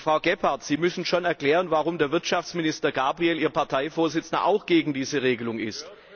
Frau Gebhardt, Sie müssen schon erklären, warum der Wirtschaftsminister Gabriel, Ihr Parteivorsitzender, auch gegen diese Regelung ist.